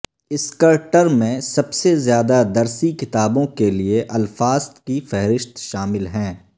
اسکرٹر میں سب سے زیادہ درسی کتابوں کے لئے الفاظ کی فہرست شامل ہیں